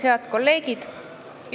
Head kolleegid!